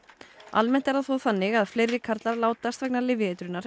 almennt er það þó þannig að fleiri karlar látast vegna